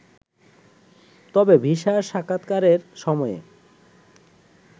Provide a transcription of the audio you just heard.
তবে ভিসার সাক্ষাতকারের সময়ে